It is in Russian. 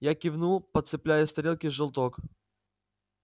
я кивнул подцепляя с тарелки желток